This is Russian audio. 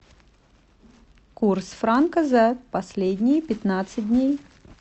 курс франка за последние пятнадцать дней